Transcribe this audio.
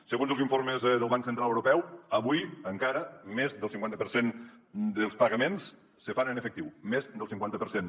segons els informes del banc central europeu avui encara més del cinquanta per cent dels pagaments se fan en efectiu més del cinquanta per cent